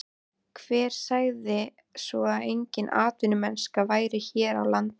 Hver sagði svo að engin atvinnumennska væri hér á landi?